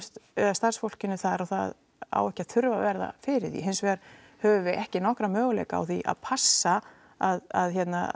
starfsfólkinu þar og það á ekki að þurfa að verða fyrir því hins vegar höfum við ekki nokkra möguleika á því að passa að